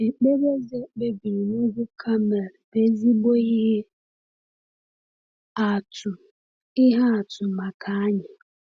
Ekpere Eze kpebiri n’ugwu Kamel bụ ezigbo ihe atụ ihe atụ maka anyị.